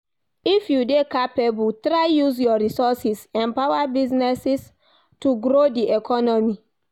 If you de capable try use your resources empower businesses to grow di economy